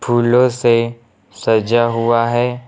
फूलों से सजा हुआ है।